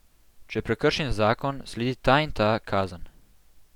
Če prekršim zakon, sledi ta in ta kazen.